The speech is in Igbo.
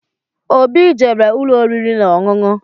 Óbị jere ụlọ oriri na-ọṅụṅụ.